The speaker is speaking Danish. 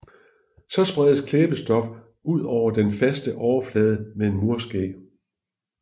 Så spredes klæbestof ud på den faste overflade med en murske